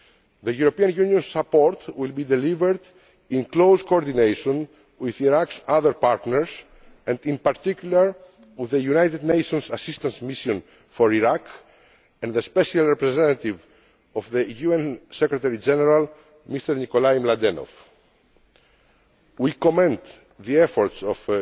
The European Union's support will be delivered in close coordination with Iraq's other partners, and in particular with the United Nations Assistance Mission for Iraq and the Special Representative of the UN Secretary General, Mr Nicolay Mladenov. We commend the efforts